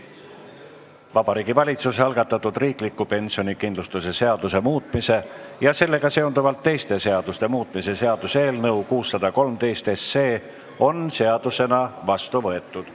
Vabariigi Valitsuse algatatud riikliku pensionikindlustuse seaduse muutmise ja sellega seonduvalt teiste seaduste muutmise seaduse eelnõu 613 on seadusena vastu võetud.